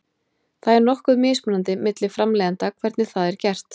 Það er nokkuð mismunandi milli framleiðenda hvernig það er gert.